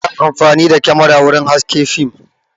Ana amfani da kyamara wurin haske fim